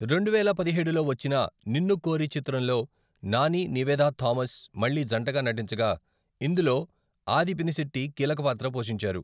రెండు వేల పదిహేడులో వచ్చిన నిన్నుకోరి చిత్రంలో నాని, నివేదా థామస్ మళ్ళి జంటగా నటించగా, ఇందులో ఆది పినిశెట్టి కీలక పాత్ర పోషించారు.